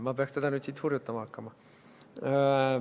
Ma peaks teda nüüd siin hurjutama hakkama.